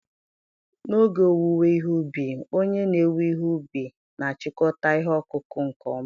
n'oge owuwe ihe ubi, onye na-ewe ihe ubi na-achịkọta ihe ọkụkụ nke ọma.